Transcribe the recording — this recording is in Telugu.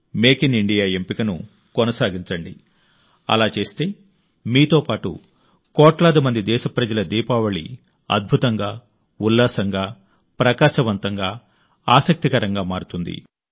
మేక్ ఇన్ ఇండియా ఎంపికను కొనసాగించండి అలా చేస్తే మీతో పాటు కోట్లాది మంది దేశప్రజల దీపావళి అద్భుతంగా ఉల్లాసంగా ప్రకాశవంతంగా ఆసక్తికరంగా మారుతుంది